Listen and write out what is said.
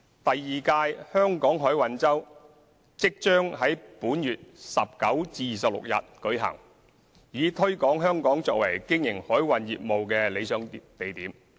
第二屆香港海運周即將在本月19日至26日舉行，以推廣香港作為經營海運業務的理想地點。